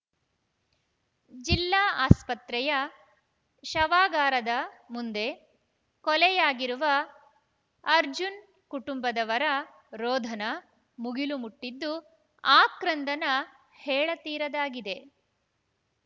ಜಿಲ್ಲಾಸ್ಪತ್ರೆಯ ಶವಾಗಾರಾದ ಮುಂದೆ ಕೊಲೆಯಾಗಿರುವ ಅರ್ಜುನ್ ಕುಟುಂಬದವರ ರೋಧನ ಮುಗಿಲು ಮುಟ್ಟಿದ್ದು ಆಕ್ರಂದನ ಹೇಳತೀರದಾಗಿದೆ